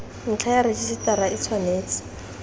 ntlha ya rejisetara e tshwanetse